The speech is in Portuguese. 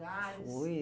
Fui.